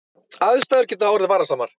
Aðstæður geta orðið varasamar